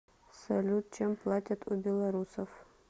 салют чем платят у белорусов